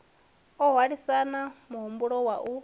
o hwalisana muhwalo wa u